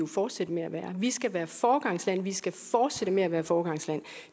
fortsætte med at være vi skal være et foregangsland og vi skal fortsætte med at være et foregangsland